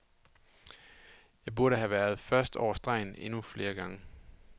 Jeg burde have været først over stregen endnu flere gange.